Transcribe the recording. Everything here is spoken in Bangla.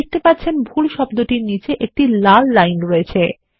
আপনি দেখতে পাচ্ছেন ভুল শব্দের নীচে একটি লাল লাইন রয়েছে